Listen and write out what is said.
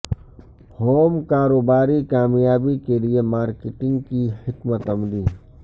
home کاروباری کامیابی کے لئے مارکیٹنگ کی حکمت عملی